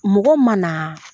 Mɔgɔ ma na